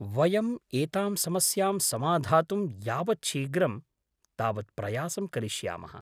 वयम् एतां समस्यां समाधातुं यावत् शीघ्रं तावत् प्रयासं करिष्यामः।